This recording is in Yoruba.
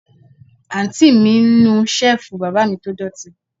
Àǹtí mi ń nu Ṣẹ́ẹ̀fù bàbá mi tó dọ̀tí